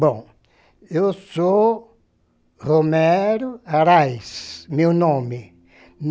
Bom, eu sou Romero Araiz, meu nome.